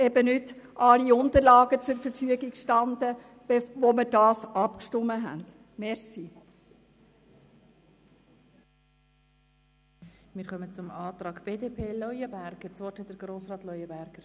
Uns standen zum Zeitpunkt der Abstimmung in der Kommission nicht alle Unterlagen zur Verfügung.